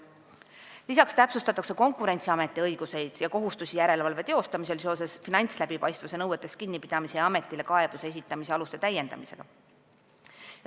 Lisaks täpsustatakse Konkurentsiameti õiguseid ja kohustusi järelevalve tegemisel seoses finantsläbipaistvuse nõuetest kinnipidamise ja ametile kaebuse esitamise aluste täiendamisega.